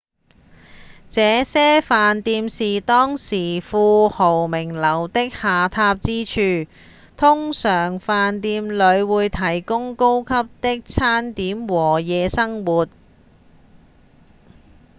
這些飯店是當時富豪名流的下榻之處通常飯店裡會提供高級的餐點和夜生活